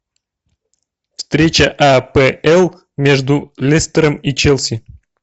встреча апл между лестером и челси